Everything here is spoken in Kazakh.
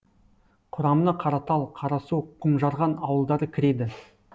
құрамына қаратал қарасу құмжарған ауылдары кіреді